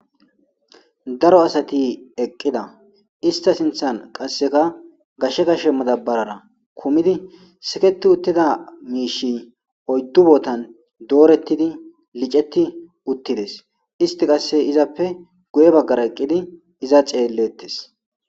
Daro asati eqqida ista sinthan qasseka gashshe gashe madabarara kumidi siketi uttida miishi oyddu bootan doorettidi liceti uttides isti qasse izappe guye baggara eqqidi iza ceellettes.